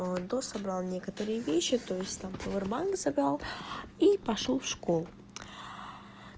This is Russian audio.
а дособрал некоторые вещи то есть там повер банк забрал и пошёл в школу